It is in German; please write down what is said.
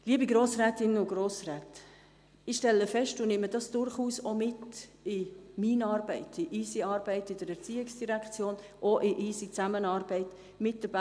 Liebe Grossrätinnen und Grossräte, ich stelle fest – und nehme dies durchaus mit in unsere Arbeiten in der ERZ und in die Zusammenarbeit mit der BFH: